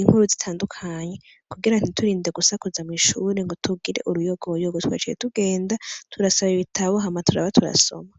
inkuru zitandukanye kugira ntiturinde gusakuza mw'ishuri ngo tugire uruyogoyogo twaciye tugenda turasaba ibitabo hama turaba turasoma.